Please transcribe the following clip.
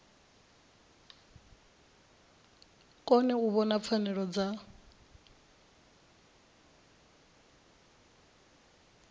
kone u vhona pfanelo dza